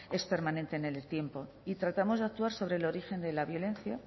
es permanente en el tiempo y tratamos de actuar sobre el origen de la violencia